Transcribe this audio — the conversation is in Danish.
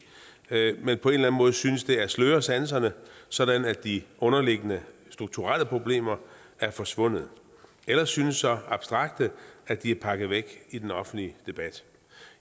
men på en eller anden måde synes det at sløre sanserne sådan at de underliggende strukturelle problemer er forsvundet eller synes så abstrakte at de er pakket væk i den offentlige debat